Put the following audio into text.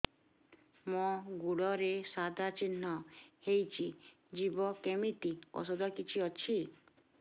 ମୋ ଗୁଡ଼ରେ ସାଧା ଚିହ୍ନ ହେଇଚି ଯିବ କେମିତି ଔଷଧ କିଛି ଅଛି